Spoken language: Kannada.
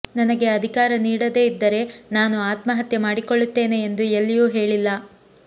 ನನಗೆ ಅಧಿಕಾರ ನೀಡದೇ ಇದ್ದರೆ ನಾನು ಆತ್ಮಹತ್ಯೆ ಮಾಡಿಕೊಳ್ಳುತ್ತೇನೆ ಎಂದು ಎಲ್ಲಿಯೂ ಹೇಳಿಲ್ಲ